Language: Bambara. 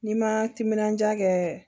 N'i ma timinandiya kɛ